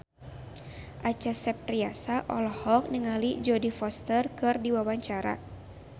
Acha Septriasa olohok ningali Jodie Foster keur diwawancara